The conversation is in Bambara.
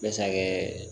Bɛ se ka kɛ